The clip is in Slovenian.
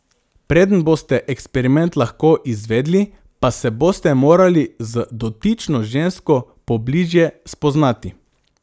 Preden boste eksperiment lahko izvedli, pa se boste morali z dotično žensko pobližje spoznati.